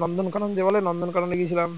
নন্দনকানন বলে ওই নন্দন কাননে গিয়েছিলাম